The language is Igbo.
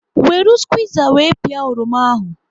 Weru squiza wee pịa oroma ahụ